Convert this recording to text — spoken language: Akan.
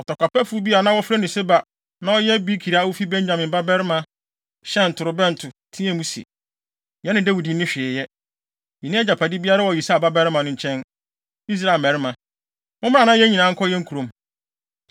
Ɔtɔkwapɛfo bi a na wɔfrɛ no Seba na ɔyɛ Bikri a ofi Benyamin babarima, hyɛn torobɛnto teɛɛ mu se, “Yɛne Dawid nni hwee yɛ. Yenni agyapade biara wɔ Yisai babarima no nkyɛn. Israel mmarima, mommra na yɛn nyinaa nkɔ yɛn kurom!”